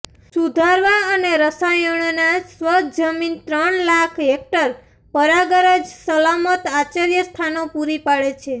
સુધારવા અને રસાયણોના સ્વચ્છ જમીન ત્રણ લાખ હેકટર પરાગરજ સલામત આશ્રયસ્થાનો પૂરી પાડે છે